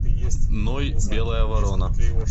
ной белая ворона